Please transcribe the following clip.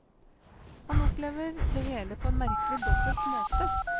Han opplever det hele på en merkelig, dobbelt måte.